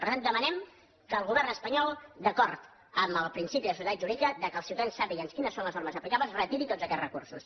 per tant demanem que el govern espanyol d’acord amb el principi de seguretat jurídica que els ciutadans sàpiguen quines són les normes aplicables retiri tots aquests recursos